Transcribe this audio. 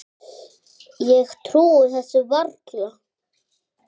Ég trúi þessu varla.